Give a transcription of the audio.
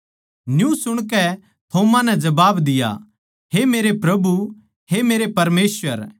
न्यू सुणकै थोमा नै जबाब दिया हे मेरे प्रभु हे मेरे परमेसवर